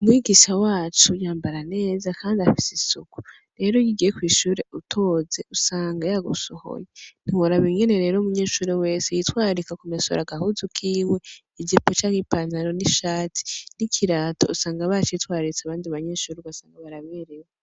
Umwigisha wacu yambara neza, kandi afise isuku rero iyugiye kw'ishure utoze usanga yagusohoye ntiworaba ingene rero umunyeshure wese yitwararika ku mesura agahuzu kiwe ijipo canke ipantaro n'ishatsi n'ikirato usanga ba citswararitse abandi banyeshuri ugasanga baberewe.